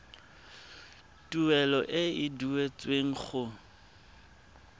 tuelo e e duetsweng go